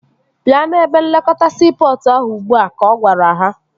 Bịa n'ebe nlekọta siipọtụ ahụ ugbua! Ka ọ gwara ha